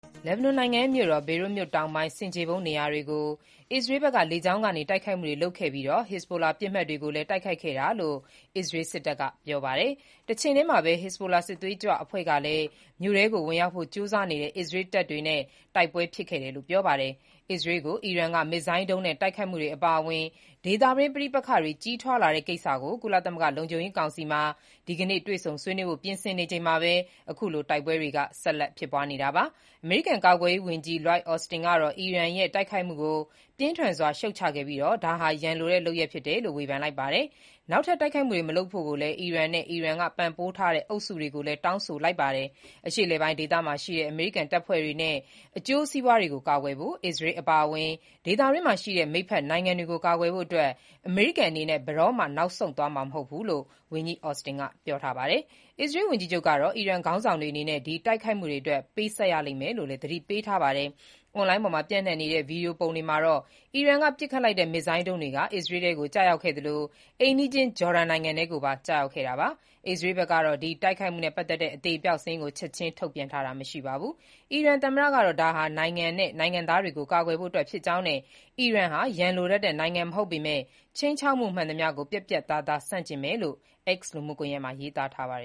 လက်ဘနွန်နိုင်ငံရဲ့မြို့တော် ဘေရွတ်မြို့ တောင်ပိုင်း ဆင်ခြေဖုံးနေရာတွေကို အစ္စရေးဘက်က လေကြောင်းကနေ တိုက်ခိုက်မှုတွေ လုပ်ခဲ့ပြီး ဟက်ဇ်ဘူလာ ပစ်မှတ်တွေကို တိုက်ခိုက်ခဲ့တာလို့လည်း အစ္စရေးစစ်တပ်က ပြောပါတယ်။ တချိန်တည်းမှာပဲ ဟစ်ဇ်ဘိုလာ စစ်သွေးကြွအဖွဲ့တွေကလည်း Adaisseh မြို့ကို ဝင်ရောက်ဖို့ ကြိုးစားနေတဲ့ အစ္စရေးတပ်တွေနဲ့ တိုက်ပွဲဖြစ်ခဲ့တယ်လို့ ပြောပါတယ်။ အစ္စရေးကို အီရန်က မစ်ဇိုင်းဒုံးနဲ့ တိုက်ခိုက်မှုတွေ အပါအဝင် ဒေသတွင်း ပဋိပက္ခတွေ ကြီးထွားလာတဲ့ ကိစ္စကို ကုလသမဂ္ဂ လုံခြုံရေးကောင်စီက ဒီနေ့မှာ တွေ့ဆုံဆွေးနွေးဖို့ ပြင်ဆင်နေချိန်မှာပဲ အခုလို တိုက်ပွဲတွေ ဆက်လက်ဖြစ်ပွားနေတာပါ။ အမေရိကန် ကာကွယ်ရေးဝန်ကြီး Lloyd Austin ကတော့ အီရန်ရဲ့ တိုက်ခိုက်မှုကို ပြင်းထန်စွာရှုတ်ချခဲ့ပြီးတော့ ဒါဟာ ရန်လိုတဲ့ လုပ်ရပ်ဖြစ်တယ်လို့ ဝေဖန်လိုက်ပြီး နောက်ထပ်တိုက်ခိုက်မှုတွေမလုပ်ဖို့ အီရန်နဲ့ အီရန်က ပံ့ပိုးထားတဲ့ အုပ်စုတွေကို တောင်းဆိုလိုက်ပါတယ်။ အရှေ့အလယ်ပိုင်း ဒေသမှာရှိတဲ့ အမေရိကန်တပ်ဖွဲ့တွေနဲ့ အကျိုးစီးပွားတွေကို ကာကွယ်ဖို့၊ အစ္စရေးအပါအဝင် ဒေသတွင်းမှာရှိတဲ့ မိတ်ဖက်နိုင်ငံတွေကို ကာကွယ်ဖို့အတွက် အမေရိကန်အနေနဲ့ ဘယ်တော့မှ တွန့်ဆုတ်သွားမှာမဟုတ်ဘူးလို့လည်း ဝန်ကြီး Austin ကပြောပါတယ်။ အစ္စရေးဝန်ကြီးချုပ်ကတော့ အီရန်ခေါင်းဆောင်တွေအနေနဲ့ ဒီတိုက်ခိုက်မှဒအတွက် ပေးဆပ်ရမယ်လို့ သတိပေးထားပါတယ်။ အွန်လိုင်းပေါ်မှာပျံ့နှံ့နေတဲ့ ဗွီဒီယိုပုံတွေမှာတော့ အီရန်က ပစ်ခတ်ခဲ့တဲ့ မစ်ဇိုင်းဒုံးတွေ အစ္စရေးထဲကို ကျရောက်ခဲ့သလို အိမ်နီးချင်း ဂျော်ဒန်နိုင်ငံထဲကို ပါ ကျရောက်ခဲ့တာပါ။ အစ္စရေးဘက်ကတော့ ဒီတိုက်ခိုက်မှုနဲ့ ပတ်သက်တဲ့ အသေအပျောက်စာရင်းကို ချက်ခြင်းထုတ်ပြန်တာမရှိပါဘူး။ အီရန် သမ္မတကတော့ ဒါဟာ နိုင်ငံနဲ့ နိုင်ငံသားတွေကို ကာကွယ်ဖို့အတွက်ဖြစ်ကြောင်းနဲ့ အီရန်ဟာ ရန်လိုတတ်တဲ့ နိုင်ငံမဟုတ်ပေမဲ့ ခြိမ်းခြောက်မှု မှန်သမျှကို ပြတ်ပြတ်သားသားဆန့်ကျင်ကြောင်း x လူမှုကွန်ရက်မှာ ရေးသားခဲ့ပါ